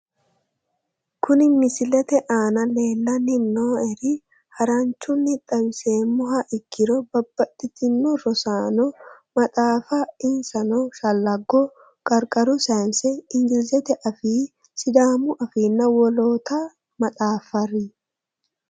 Kunni misilete aana lelanni nooerre haranchunni xawisemoha ikkiro Babaxitino rosaanote maxaafa insano shalago Qarqaru sayse ingilizete afii sidaamu afiina wollota maxaafari